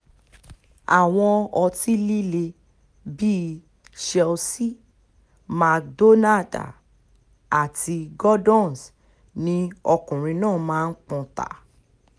àwọn ọtí líle bíi chelsea mc donder àti gordons ni ọkùnrin náà máa ń pọ́n ta